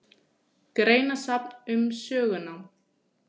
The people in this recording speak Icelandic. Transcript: Greinasafn um sögunám.